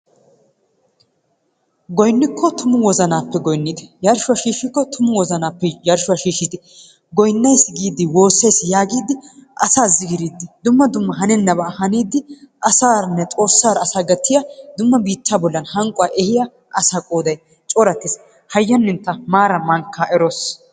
Goynnikko tumu wozanaappe goynnite, yarshshikko tumu wozanaappe yarshshuwa shiishshidi goynnays giiddi woossays giiddi, asaa zigiriiddi, dumma dumma hanennabaa haniiddi, asaaranne xoossaaara asaa gattiya dumma biittaa bollan hanqquwa ehiya asaa qooday corattiis. Hayyanintta maaraa mankkaa eroos.